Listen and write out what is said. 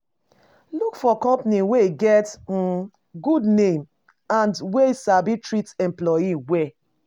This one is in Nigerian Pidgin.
Look for companies wey get um good name and wey sabi treat employee well